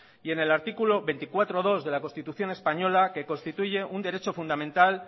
y en el artículo veinticuatro punto dos de la constitución española que constituye un derecho fundamental